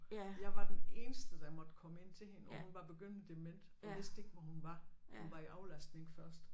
Jeg var den eneste der måtte komme ind til hende og hun var begyndende dement og vidste ikke hvor hun var hun var i aflastning først